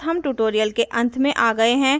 इसी के साथ हम tutorial के अंत में आ गये हैं